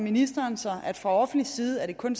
ministeren sig at det fra offentlig side kun